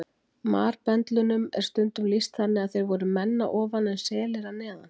Marbendlunum er stundum lýst þannig að þeir voru menn að ofan en selir að neðan.